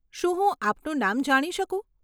શું હું આપનું નામ જાણી શકું?